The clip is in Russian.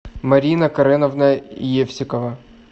марина кареновна евсикова